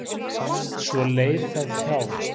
Svo leið það hjá.